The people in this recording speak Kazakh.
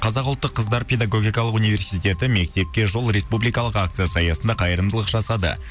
қазақ ұлттық қыздар педагогикалық университеті мектепке жол республикалық акциясы аясында қайырымдылық жасады